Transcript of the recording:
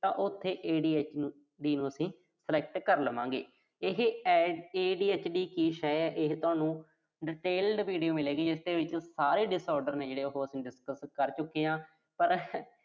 ਤਾਂ ਉਥੇ ADHD ਨੂੰ ਅਸੀਂ select ਕਰ ਲਵਾਂਗੇ। ਇਹ ADHD ਐ, ਇਹੇ ਤੁਹਾਨੂੰ detailed video ਮਿਲੇਗੀ। ਇਸਦੇ ਵਿੱਚ ਸਾਰੇ disorder ਮਿਲਦੇ ਆ ਜੋ ਆਪਾਂ discuss ਕਰ ਚੁੱਕੇ ਆਂ।